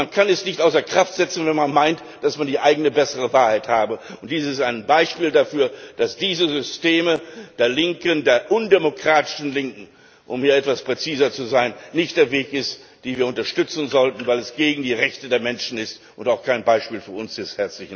Man kann sie nicht außer Kraft setzen, wenn man meint, die eigene, bessere Wahrheit zu haben, und dies ist ein Beispiel dafür, dass dieses System der Linken, der undemokratischen Linken, um hier etwas präziser zu sein, nicht der Weg ist, den wir unterstützen sollten, weil das gegen die Rechte der Menschen ist und auch kein Beispiel für uns ist!